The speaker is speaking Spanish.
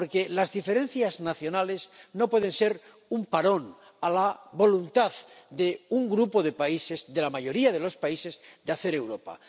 Porque las diferencias nacionales no pueden ser un parón a la voluntad de un grupo de países —de la mayoría de los países— de hacer Europa.